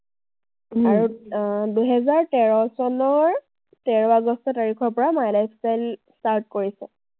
আৰু আহ দুহেজাৰ তেৰ চনৰ তেৰ আগষ্ট তাৰিখৰ পৰা my lifestyle start কৰিছে।